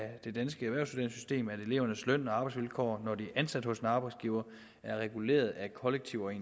elevernes løn og arbejdsvilkår når de er ansat hos en arbejdsgiver er reguleret af kollektive